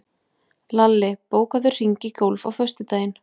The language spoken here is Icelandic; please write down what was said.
Lalli, bókaðu hring í golf á föstudaginn.